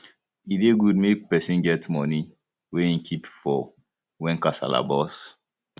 e dey good make person get money wey im keep for when kasala burst